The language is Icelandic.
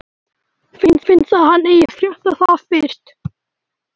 Mér finnst að hann eigi að frétta það fyrst.